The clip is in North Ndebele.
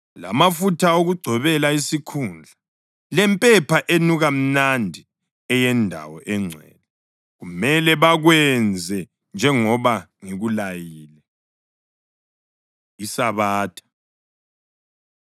lamafutha okugcobela isikhundla, lempepha enuka mnandi eyeNdawo eNgcwele. Kumele bakwenze njengoba ngikulayile.” ISabatha